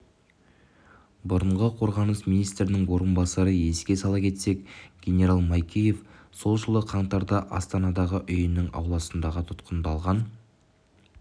бұрынғы қорғаныс министрінің орынбасары еске сала кетсек генерал майкеев сол жылы қаңтарда астанадағы үйінің ауласында тұтқындалған